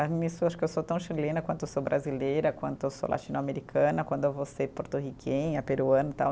Nisso eu acho que eu sou tão chilena quanto eu sou brasileira, quanto eu sou latino-americana, quando eu vou ser porto-riquenha, peruana e tal.